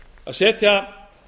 að setja